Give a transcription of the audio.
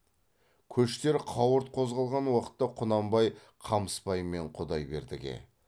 көштер қауырт қозғалған уақытта құнанбай қамысбай мен құдайбердіге